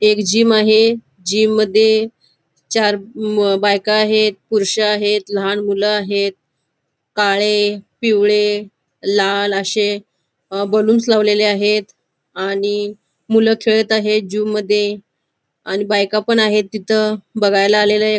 एक जिम आहे जिम मध्ये चार म बायका आहेत पुरुष आहेत लहान मुलं आहेत काळे पिवळे लाल अशे अ बलुन्स लावलेले आहेत आणि मूल खेळत आहेत जिम मध्ये आणि बायका पण आहेत तिथ बघायला आलेले.